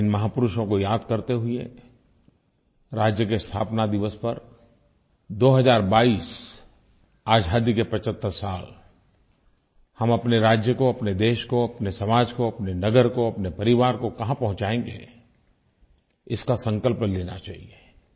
और इन महापुरुषों को याद करते हुए राज्य के स्थापना दिवस पर 2022 आज़ादी के 75 साल हम अपने राज्य को अपने देश को अपने समाज को अपने नगर को अपने परिवार को कहाँ पहुँचाएँगे इसका संकल्प लेना चाहिये